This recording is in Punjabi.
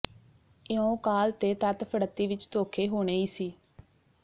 ਇਉਂ ਕਾਹਲ ਤੇ ਤੱਤ ਫੜੱਤੀ ਵਿਚ ਧੋਖੇ ਹੋਣੇ ਈ ਸੀ